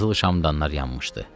Qızıl şamdanlar yanmışdı.